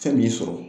Fɛn m'i sɔrɔ